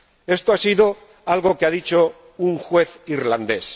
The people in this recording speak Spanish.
Esto ha sido algo que ha dicho un juez irlandés.